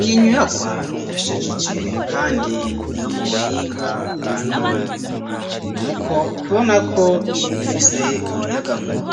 Iyi nyubakwa irashajije kandi niyo mu buhinga bwa none. N’uko tubona ko ifise umuyagankuba